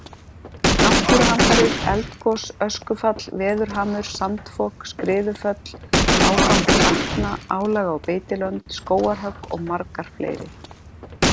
Náttúruhamfarir, eldgos, öskufall, veðurhamur, sandfok, skriðuföll, ágangur vatna, álag á beitilönd, skógarhögg og margar fleiri.